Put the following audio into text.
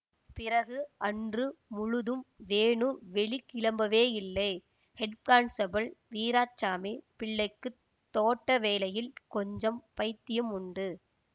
பிறகு அன்று முழுதும் வேணு வெளிக்கிளம்பவேயில்லை ஹெட்கான்ஸ்டேபிள் வீராசாமிப் பிள்ளைக்குத் தோட்ட வேலையில் கொஞ்சம் பைத்தியமுண்டு